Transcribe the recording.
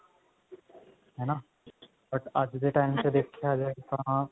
ਹਨਾ but ਅੱਜ ਦੇ ਚ ਦੇਖਿਆ ਜਾਵੇ ਤਾਂ